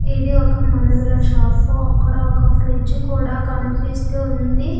ఇది ఒక మందుల షాప్ అక్కడ ఒక ఫ్రిడ్జ్ కూడా కనిపిస్తూ ఉంది.